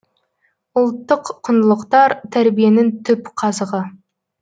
ұлттық құндылықтар тәрбиенің түп қазығы